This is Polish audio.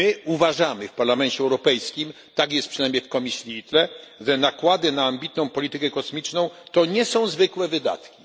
Uważamy w Parlamencie Europejskim, tak jest przynajmniej w komisji ITRE, że nakłady na ambitną politykę kosmiczną to nie są zwykłe wydatki.